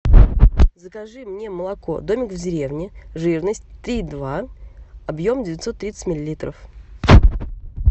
закажи мне молоко домик в деревне жирность три и два объем девятьсот тридцать миллилитров